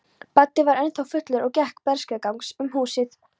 Baddi var ennþá fullur og gekk berserksgang um húsið.